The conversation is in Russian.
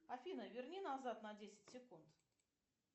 афина верни назад на десять секунд